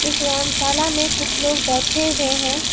इस व्यायामशाला में कुछ लोग बैठे हुए है।